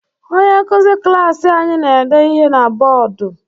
Onye nkuzi klaasị anyi na-ede ihe na bọdụ.